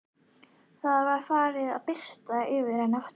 Það var farið að birta yfir henni aftur.